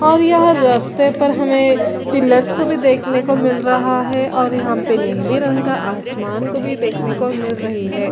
--और यहाँ रास्ते पर हमे पिल्लर्स को भी देखने को भी मिल रहा है और यहाँ पे नीले रंग का आसमान को भी देखने को मिल रही है।